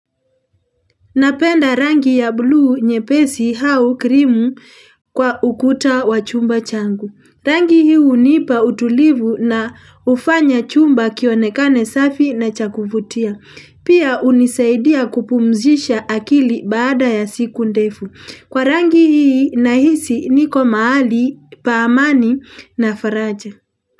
Napenda rangi ya bluu nye pesi hau krimu kwa ukuta wa chumba changu. Rangi hii unipa utulivu na ufanya chumba kionekane safi na cha kuvutia. Pia unisaidia kupumzisha akili baada ya siku ndefu. Kwa rangi hii nahisi niko mahali pa amani na faraja.